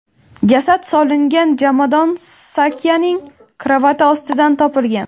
Jasad solingan jomadon Sakyaning karavoti ostidan topilgan.